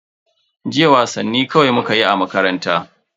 Jiya wasanni kawai mukayi a makaranta.